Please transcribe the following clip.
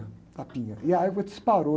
tapinha, e a égua disparou.